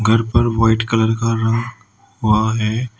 घर पर white colour का रंग हुआ है।